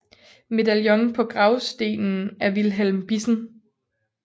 Medaljon på gravstenen af Vilhelm Bissen